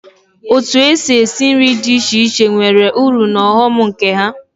Otu èsị́ esi nri dị iche iche nwere ụrụ na ọghọm nke ha.